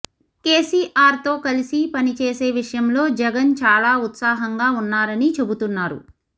కేసీఆర్తో కలిసి పని చేసే విషయంలో జగన్ చాలా ఉత్సాహంగా ఉన్నారని చెబుతున్నారు